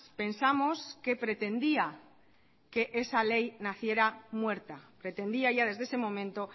pensamos que pretendía que esa ley naciera muerta pretendía ya desde ese momento